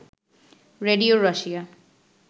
radio Russia